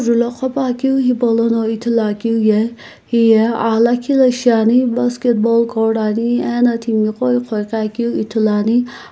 akeu hepo lo ghopane hipolono ithulu akeu ye heye aghi lakhi la shiane basketball cord ane ano timi ko eghoeghi keu ithulu ane.